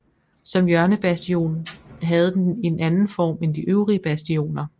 Som hjørnebastion havde den en anden form end de øvrige bastioner